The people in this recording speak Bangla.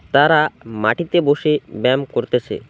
তারা মাটিতে বসে ব্যায়াম করতেসে।